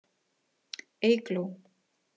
Eygló